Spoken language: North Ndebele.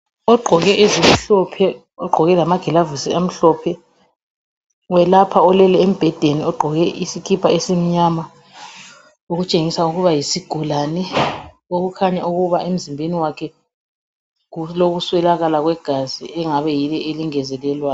Ogqoke ezimhlophe ogqoke lamagilavusi amhlophe welapha olele embhedeni ogqoke isikipa esinyama okutshengisa ukuba yisugulane okukhanya ukuba emzimbeni wakhe kulokuswelakala kwegazi okuyilo eliyengezelelwayo